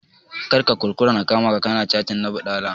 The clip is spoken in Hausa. Kar ka kuskura na kama ka ka na cattin na baɗala!